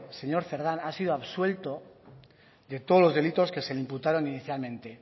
señor cerdán ha sido absuelto de todos los delitos que se le imputaron inicialmente